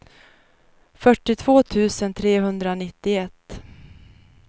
fyrtiotvå tusen trehundranittioett